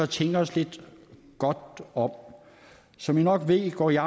tænke os godt om som i nok ved går jeg